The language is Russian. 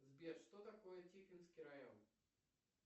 сбер что такое тихвинский район